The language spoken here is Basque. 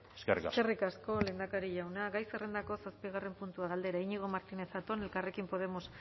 eskerrik asko eskerrik asko lehendakari jauna gai zerrendako zazpigarrena puntua galdera iñigo martínez zatón elkarrekin podemos